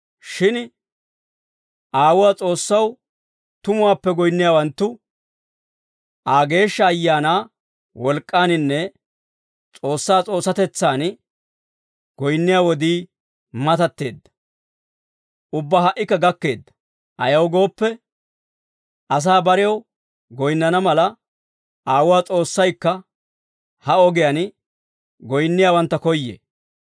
Shin Aawuwaa S'oossaw tumuwaappe goyinniyaawanttu Aa, Geeshsha Ayaanaa wolk'k'aaninne S'oossaa S'oossatetsaadan goyinniyaa wodii matatteedda; ubbaa ha"ikka gakkeedda. Ayaw gooppe, asaa barew goyinnana mala, Aawuu S'oossaykka ha ogiyaan goyinniyaawantta koyyee.